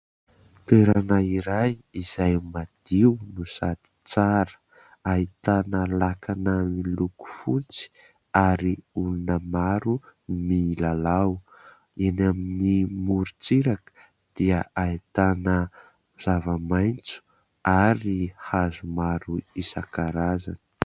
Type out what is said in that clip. Toerana iray izay madio no sady tsara, ahitana lakana ny loko fotsy ary olona maro milalao eny amin'ny morontsiraka dia ahitana zava-maitso ary hazo maro isankarazany.